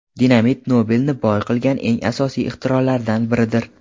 Dinamit Nobelni boy qilgan eng asosiy ixtirolaridan biridir.